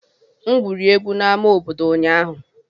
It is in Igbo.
M egwuri egwu na ama obodo ụnyaahụ.